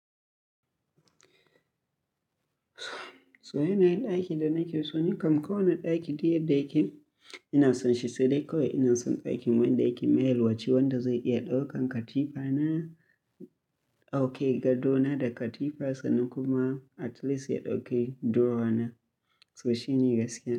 So yanayin ɗakin da nake so ni kam kowane ɗaki duk yadda yake ina son shi sai dai kawai ina son ɗakin wanda yake mai yalwa, wanda zai iya ɗaukan katifa na, ok gado na da katifa na kuma at least ya ɗauke drower na. So shine gaskiya.